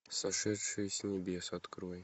сошедшие с небес открой